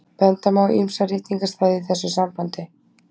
benda má á ýmsa ritningarstaði í þessu sambandi